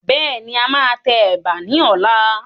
Bẹ́ẹ̀ni, a máa tẹ Ẹ̀bà ni ọ̀la.